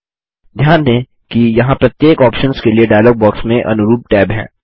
ध्यान दें कि यहाँ प्रत्येक ऑप्शन्स के लिए डायलॉग बॉक्स में अनुरूप टैब हैं